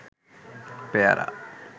পেয়ারা